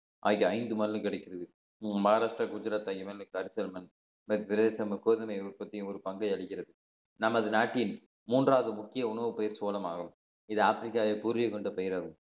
ஆகிய ஐந்து மாநிலம் கிடைக்கிறது மகாராஷ்டிரா குஜராத் இரண்டுக்கு அடுத்த ஒரு பங்கை அளிக்கிறது நமது நாட்டின் மூன்றாவது முக்கிய உணவுப்பயிர் சோளமாகும் இது ஆப்பிரிக்காவை கூறிய கொண்ட பயிர் ஆகும்